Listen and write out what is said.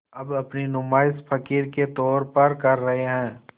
अब अपनी नुमाइश फ़क़ीर के तौर पर कर रहे हैं